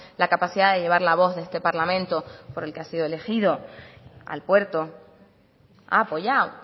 la capacidad de llevar la voz de este parlamento por el que hay sido elegido al puerto ha apoyado